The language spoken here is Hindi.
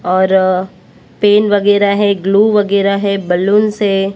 और पेन वगैरा है ग्लू वगैरा है बलूंस है।